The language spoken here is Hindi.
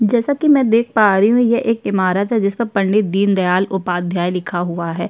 जैसा कि मैं देख पा रही हूँ ये एक इमारत है जिसपे पंडित दीन उपाध्याय लिखा हुआ है।